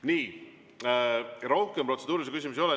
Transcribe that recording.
Nii, rohkem protseduurilisi küsimusi ei ole.